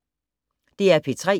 DR P3